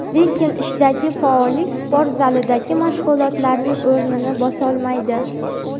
Lekin ishdagi faollik sport zalidagi mashg‘ulotlarning o‘rnini bosolmaydi.